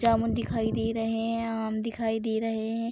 जामुन दिखाई दे रहे हैं आम दिखाई दे रहे हैं।